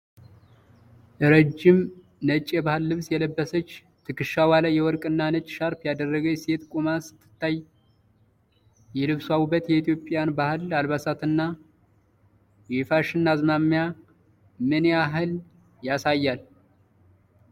ረዥም ነጭ የባህል ልብስ የለበሰች፣ ትከሻዋ ላይ የወርቅና ነጭ ሻርፕ ያደረገች ሴት ቆማ ስትታይ፣ የልብሷ ውበት የኢትዮጵያን የባህል አልባሳትና የፋሽን አዝማሚያ ምን ያህል ያሳያል?